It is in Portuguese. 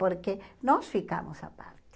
Porque nós ficamos à parte.